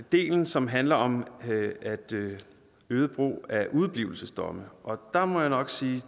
del som handler om øget brug af udeblivelsesdomme og der må jeg nok sige